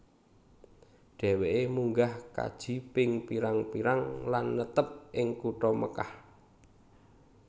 Dheweke munggah kaji ping pirang pirang lan netep ing kutha Mekkah